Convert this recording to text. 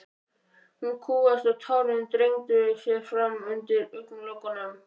Hún kúgaðist og tárin þrengdu sér fram undir augnalokunum.